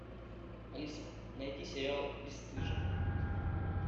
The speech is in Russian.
алиса найди сериал бесстыжие